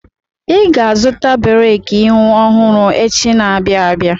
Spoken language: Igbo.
Ị ga-azụ breki ihu ọhụrụ echi na-abịa abịa!